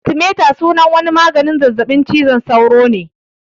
Artimiter sunan wani maganin zazzaɓin cizon sauro ne